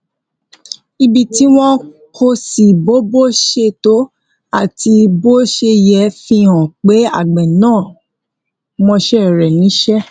ibi tí wón kó sí bó bó ṣe tó àti bó ṣe yẹ fi hàn pé àgbè náà mọṣé rè níṣé